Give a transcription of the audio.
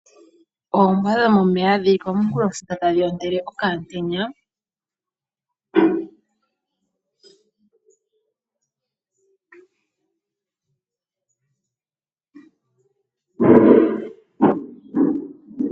Ombwa dhomeya dhili komunkulofula tadhi ontele okamutenya.